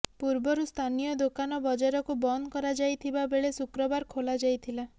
ପୂର୍ବରୁ ସ୍ଥାନୀୟ ଦୋକାନ ବଜାରକୁ ବନ୍ଦ କରାଯାଇଥିବା ବେଳେ ଶୁକ୍ରବାର ଖୋଲା ଯାଇଥିଲା